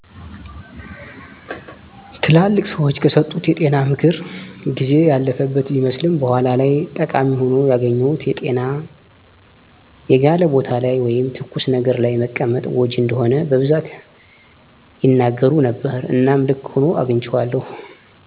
ትላልቅ ሰዎች ከሰጡት የጤና ምክር ጊዜ ያለፈበት ቢመስልም በኋላ ላይ ጠቃሚ ሆኖ ያገኘሁት የጤና የጋለ ቦታ ላይ ወይም ተኩስ ነገር ለይ መቀመጥ ጎጅ እንደሆነ በቡዛት ያናገሩ ነበረ እናም ልክ ሁኖ አግንቸዋለዉ።